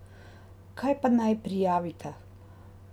Kaj pa naj prijavita?